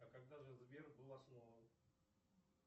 а когда же сбер был основан